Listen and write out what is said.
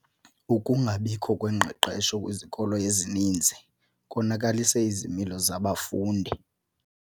Ukungabikho kwengqeqesho kwizikolo ezininzi konakalise izimilo zabafundi.